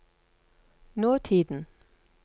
nåtiden